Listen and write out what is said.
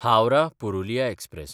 हावराह–पुरुलिया express